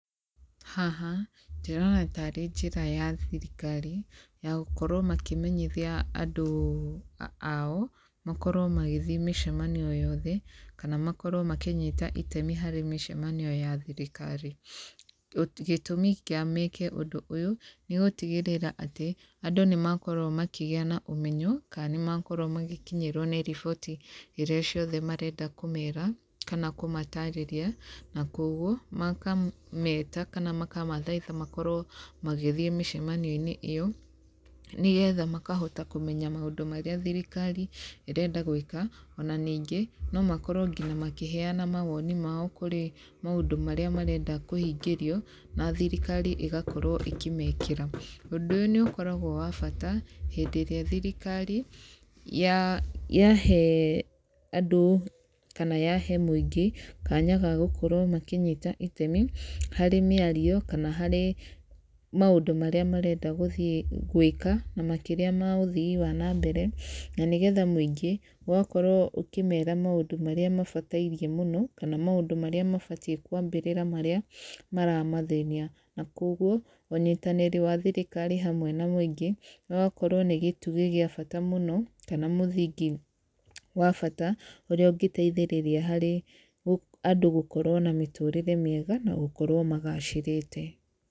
Haha, ndĩrona tarĩ njĩra ya thirikari ya gũkorwo makĩmenyithia andũ ao makorwo magĩthiĩ mĩcemanio o yothe kana makorwo makĩnyita itemi harĩ mĩcemanio ya thirikari. Gĩtũmi kĩa meke ũndũ ũyũ nĩ gũtigĩrĩra atĩ, andũ nĩ makorwo makĩgĩa na ũmenyo kana nĩ makorwo magĩkinyĩrwo nĩ riboti iria ciothe marenda kũmera kana kũmatĩrĩria. Na koguo maka meta kana makamathaitha makorwo magĩthiĩ mĩcemanio-inĩ ĩyo nĩgetha makahota kũmenya maũndũ marĩa thirikari ĩrenda gwĩka. Ona ningĩ no makorwo ngina makĩheana mawoni mao kũrĩ maũndũ marĩa marenda kũhingĩrio na thirikari ĩgakorwo ĩkĩmekĩra. Ũndũ ũyũ nĩ ũkoragwo wa bata hĩndĩ ĩrĩa thirikari yahe andũ kana yahe mũingĩ kanya ga gũkorwo makĩnyita itemi harĩ mĩario kana harĩ maũndũ marĩa marathiĩ gwĩka na makĩria ma ũthii wa na mbere. Na nĩ getha mũingĩ ũgakorwo ũkĩmera maũndũ marĩa mabatairie mũno, kana maũndũ marĩa mabatiĩ kwambĩrĩra marĩa maramathĩnia. Na koguo, ũnyitanĩri wa thirikari hamwe na mũingĩ ũgakorwo nĩ gĩtugĩ gĩa bata mũno, kana mũthingi wa bata ũrĩa ũngĩteithĩriria harĩ andũ gũkorwo na mĩtũrĩre mĩega na gũkorwo magacĩrĩte.